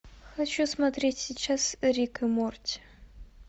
хочу смотреть сейчас рик и морти